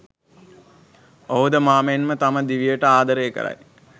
ඔහුද මා මෙන්ම තම දිවියට ආදරය කරයි.